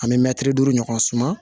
An bɛ mɛtiri duuru ɲɔgɔn suman